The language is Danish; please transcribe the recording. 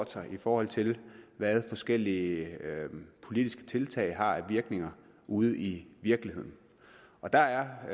til i forhold til hvad forskellige politiske tiltag har af virkning ude i virkeligheden og der er